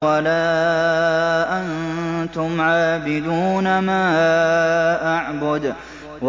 وَلَا أَنتُمْ عَابِدُونَ مَا أَعْبُدُ